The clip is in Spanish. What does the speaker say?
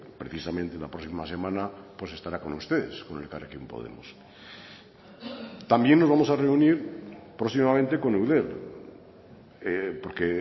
precisamente la próxima semana pues estará con ustedes con elkarrekin podemos también nos vamos a reunir próximamente con eudel porque